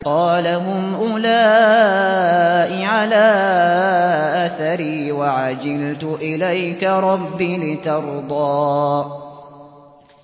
قَالَ هُمْ أُولَاءِ عَلَىٰ أَثَرِي وَعَجِلْتُ إِلَيْكَ رَبِّ لِتَرْضَىٰ